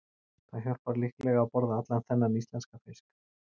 Það hjálpar líklega að borða allan þennan íslenska fisk.